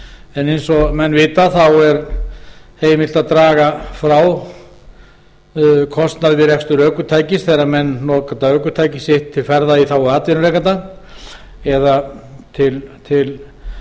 ökutækjastyrkjum eins og menn vita er heimilt að draga frá kostnað við rekstur ökutækis þegar menn nota ökutæki sitt til ferða í þágu atvinnurekanda eða til